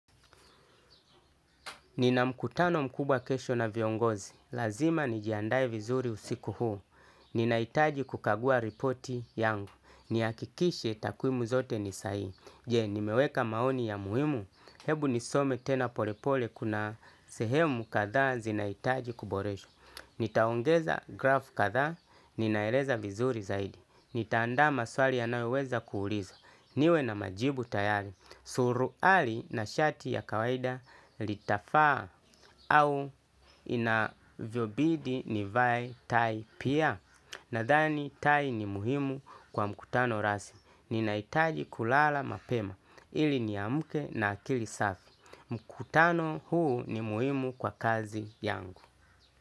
Ninamkutano mkubwa kesho na viongozi. Lazima nijiandae vizuri usiku huu. Ninaitaji kukagua ripoti yangu. Niakikishe takuimu zote nisa hii. Je, nimeweka maoni ya muhimu. Hebu nisome tena polepole kuna sehemu katha zinaitaji kuboreshwa. Nitaongeza grafu katha. Ninaeleza vizuri zaidi. Nitaandama swali ya naweweza kuuliza. Niwe na majibu tayari. Suruali na shati ya kawaida litafa au inavyobidi nivae tai pia. Nadhani tai ni muhimu kwa mkutano rasmi. Ninaitaji kulala mapema ili ni amuke na akili safi. Mkutano huu ni muhimu kwa kazi yangu.